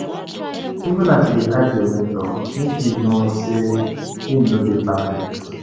Even as you dey hype your mentor, make you know sey im no dey perfect.